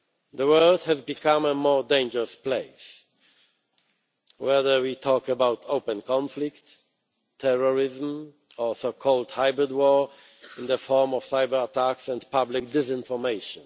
The world has become a more dangerous place, whether we talk about open conflict, terrorism or so called hybrid war in the form of cyberattacks and public disinformation.